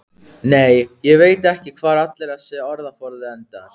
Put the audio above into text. Nei, ég veit ekki hvar allur þessi orðaforði endar.